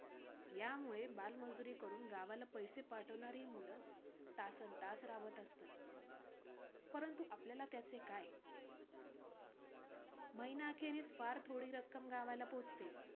यामुळे बालमजुरी करून गावाला पैसे पाठवणारी ही मुलं तासनतास राबत असतात. परंतु आपल्याला त्याचे काय, महिनाअखेरीस फार थोडी रक्कम गावाला पोहचते.